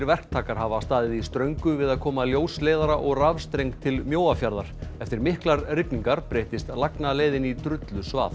verktakar hafa staðið í ströngu við að koma ljósleiðara og rafstreng til Mjóafjarðar eftir miklar rigningar breyttist lagnaleiðin í drullusvað